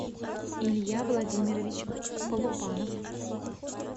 илья владимирович полупанов